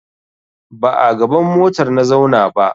Ba a gaban motar na zauna ba.